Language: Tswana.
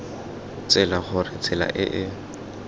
tsela gore tsela e e